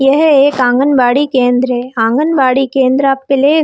यह एक आँगन-बाड़ी केंद्र है आँगन-बाड़ी केंद्र अब प्ले --